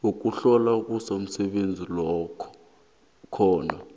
yokuhlolwa komsebenzi khona